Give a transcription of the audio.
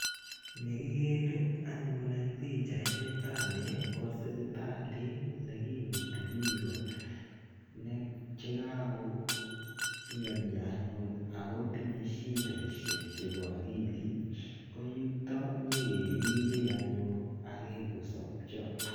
Ni kikere anyun eng' pichait nitani ko sipitalit ne kimuti piko che kakomianya anyun ako tinye shideshek chepo akilit. Ko yutok nyi keripee anyun akoi kosapcha.